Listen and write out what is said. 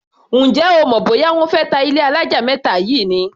Ǹjẹ́ o mọ̀ bóyá wọ́n fé ta ilé alájà mẹ́ta yìí ni?